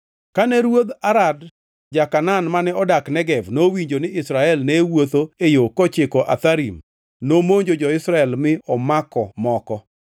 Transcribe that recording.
Kane ruodh Arad ma ja-Kanaan, mane odak Negev, nowinjo ni Israel ne wuotho e yo kochiko Atharim, nomonjo jo-Israel mi omako moko.